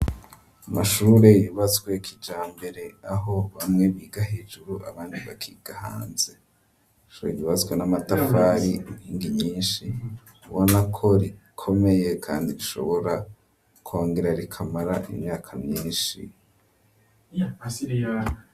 Amashure yubatswe kija mbere, aho bamwe biga hejuru, abandi bakiga hanze ,ishure ryubazwe n'amatafari inkingi nyinshi ubona ko rikomeye, kandi bishobora kongera, rikamara imyaka myinshi.